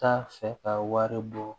T'a fɛ ka wari bɔ